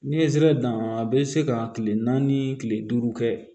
N'i ye zere dan a bɛ se ka kile naani kile duuru kɛ